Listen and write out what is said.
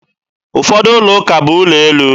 Ụfọdụ ụlọuka bụ ụlọ elu